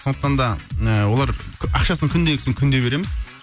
сондықтан да ы олар ақшасын күндегісін күнде береміз